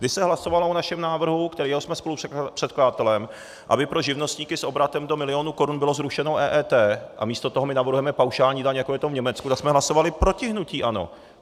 Když se hlasovalo o našem návrhu, kterého jsme spolupředkladatelem, aby pro živnostníky s obratem do milionu korun bylo zrušeno EET, a místo toho my navrhujeme paušální daň, jako je to v Německu, tak jsme hlasovali proti hnutí ANO.